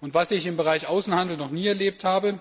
Und was ich im Bereich Außenhandel noch nie erlebt habe